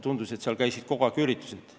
Tundus, et seal toimusid kogu aeg üritused.